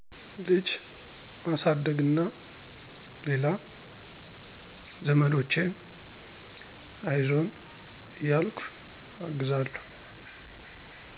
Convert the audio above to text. ልጅ ማሳደግና ሌላ ዘመዶቼን አይዞን እያልኩ አግዛለሁ።